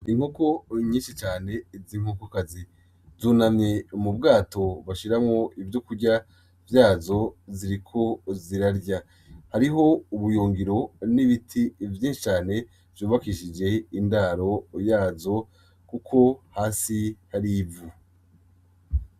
Inkoko nyinshi cane z'inkokokazi zunamye mu bwato bashiramwo ivyokurya vyazo ziriko zirarya hariho ubuyungiro n'ibiti vyinshi cane vyubakishije indaro yazo kuko hasi hari ivu.